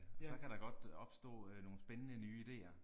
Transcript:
Så kan der godt opstå nogle spændende nye ideer